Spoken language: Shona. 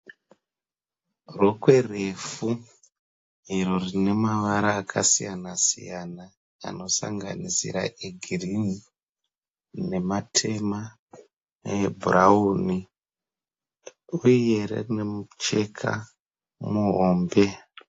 Rokwe refu iro rine mavara akasiyana-siyana anosanganisira egirini, nematema, neebrurauni uye rine mucheka muhombe.